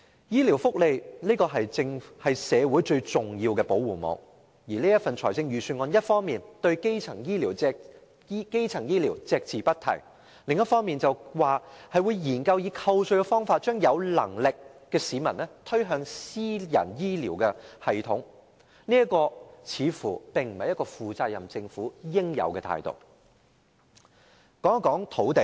醫療福利是社會最重要的保護網，而預算案一方面對基層醫療隻字不提，另一方面則說會研究以扣稅的方法將有能力的市民推向私人醫療系統，這並非負責任政府應有的態度。